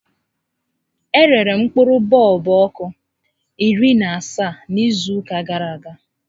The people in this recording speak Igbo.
E rere m mkpụrụ bọọlbụ ọkụ iri na asaa n'izu ụka gàrà aga